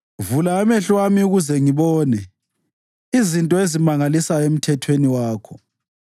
Vula amehlo ami ukuze ngibone izinto ezimangalisayo emthethweni wakho.